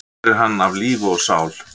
Hér er hann af lífi og sál.